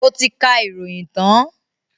Ó ti kà ìròyìn tán?